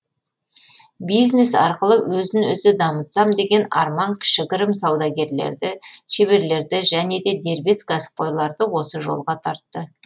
бизнес арқылы өзін өзі дамытсам деген арман кішігірім саудагерлерді шеберлерді және де дербес кәсіпқойларды осы жолға тартты